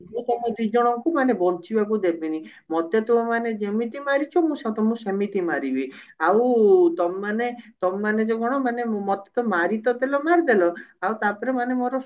ମୁଁ ତମ ଦିଜଣକୁ ମାନେ ବଞ୍ଚିବାକୁ ଦେବିନି ମୋତେ ତୁମେମାନେ ଯେମିତି ମାରିଛ ମୁଁ ସ ତମକୁ ସେମିତି ମାରିବି ଆଉ ତମେ ମାନେ ତମେ ମାନେ ଯଉ କଣ ମାନେ ମୋତେ ତ ମାରି ତ ଡେଲ ମାରିଦେଲ ଆଉ ତାପରେ ମାନେ ମୋର